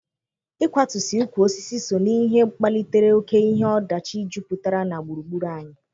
Ịkwatusị ukwu osisi so ná ihe kpalitere oke ihe ọdachi jupụtara na gburugburu anyị.